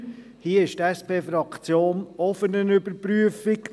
Hier ist die SPFraktion auch für eine Überprüfung.